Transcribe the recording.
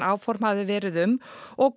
áfom hafi verið um og